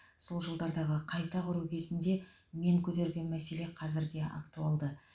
сол жылдардағы қайта құру кезінде мен көтерген мәселе қазір де актуалды